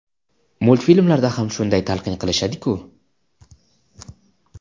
Multfilmlarda ham shunday talqin qilishadi-ku.